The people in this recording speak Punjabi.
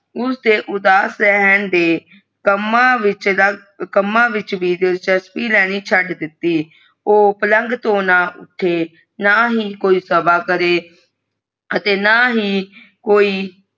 ਉਸ ਦੇ ਉਦਾਸ ਰਹਿਣ ਤੇ ਕੰਮਾਂ ਵਿਚ ਕੰਮਾਂ ਵਿਚ ਦਿਲਚਸੱਪੀ ਲਹਨਿ ਚਡ ਦਿੱਤੀ ਊ ਪਲੰਗ ਤੋਂ ਨਾ ਉੱਥੇ ਨਾ ਹੀ ਕੋਈ ਸਭਾ ਕਰੇ ਅਤੇ ਨਾ ਹੀ ਕੋਈ।